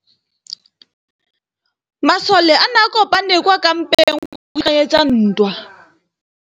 Masole a ne a kopane kwa kampeng go ipaakanyetsa ntwa.